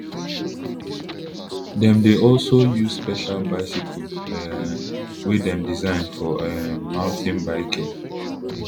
dem dey also use special bicycles um wey dem design for um mountain biking